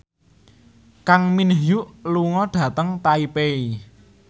Kang Min Hyuk lunga dhateng Taipei